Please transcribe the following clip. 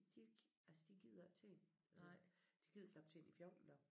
De altså de gider ikke ting øh de gider knap ting i 14 dage